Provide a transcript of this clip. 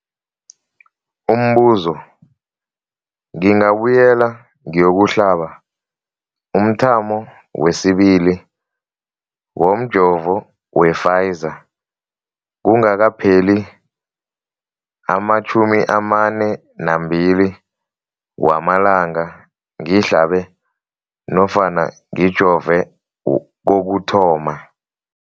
Umbuzo, ngingabuyela ngiyokuhlaba umthamo wesibili womjovo we-Pfizer kungakapheli ama-42 wamalanga ngihlabe nofana ngijove kokuthoma.